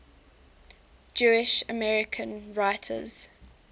jewish american writers